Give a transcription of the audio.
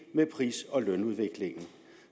med pris og lønudviklingen